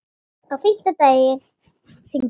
Á fimmta degi hringdi Mark.